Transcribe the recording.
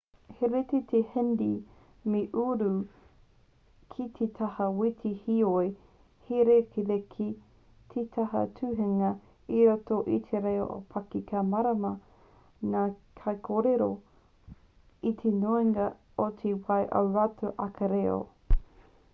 he rite te hindi me te urdu ki te taha wete reo heoi he rerekē te taha tuhinga i roto i te reo ōpaki ka mārama ngā kaikōrero i te nuinga o te wā ō rātou ake reo